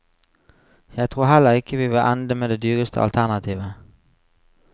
Jeg tror heller ikke vi vil ende med det dyreste alternativet.